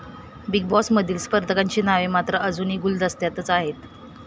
Big बॉसमधील स्पर्धकांची नावे मात्र अजून गुलदस्त्यातच आहेत.